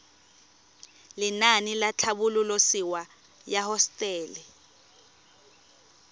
lenaane la tlhabololosewa ya hosetele